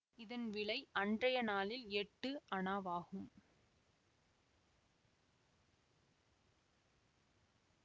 இதன் விலை அன்றைய நாளில் எட்டு அணாவாகும்